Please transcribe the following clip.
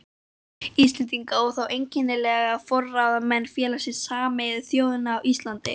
Íslendinga, og þá einkanlega forráðamanna Félags Sameinuðu þjóðanna á Íslandi.